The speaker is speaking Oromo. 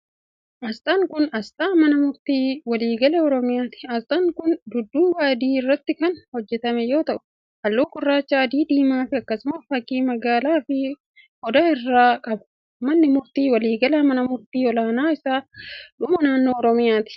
Asxaan kun, asxaa mana murtii waliigalaa Oromiyaati. Asxaan kun dudduuba adii irratti kan hojjatame yoo ta'u, haalluu gurraacha, adii fi diimaa akkasumas fakkii madaalaa fi odaa of irraa qaba. Manni murtii waliigalaa ,mana murtii olaanaa isa dhumaa naannoo Oromiyaati.